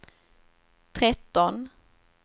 tretton